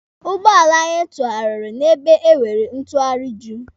Ụgbọala anyị tụarịrị n'ebe e nwere ntụarị Juu.